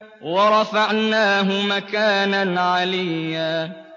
وَرَفَعْنَاهُ مَكَانًا عَلِيًّا